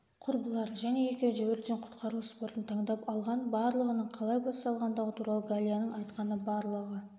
құрбылар және екеуі де өрттен-құтқару спортын таңдап алған барлығының қалай басталғандығы туралы галияның айтқаны барлығы